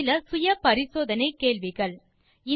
தீர்வு காண self assessment கேள்விகள் 1